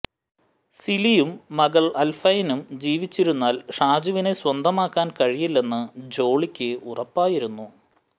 സിലിയും മകൾ അൽഫൈനും ജീവിച്ചിരുന്നാൽ ഷാജുവിനെ സ്വന്തമാക്കാൻ കഴിയില്ലെന്ന് ജോളിക്ക് ഉറപ്പായിരുന്നു